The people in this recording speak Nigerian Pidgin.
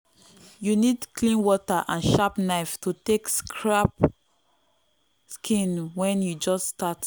you need clean water and sharp knife to take scrape skin when you just start.